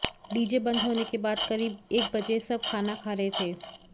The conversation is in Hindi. डीजे बंद होने के बाद करीब एक बजे सब खाना खा रहे थे